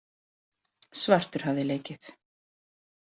Svartur hafði leikið.